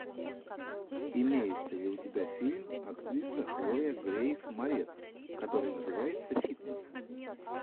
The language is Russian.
имеется ли у тебя фильм актриса хлоя грейс морец который называется фитнес